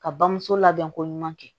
Ka bamuso labɛn ko ɲuman kɛ